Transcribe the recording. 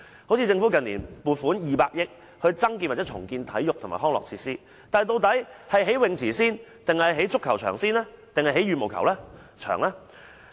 好像政府近年撥款200億元增建或重建體育及康樂設施，但究竟應先興建泳池、足球場還是羽毛球場呢？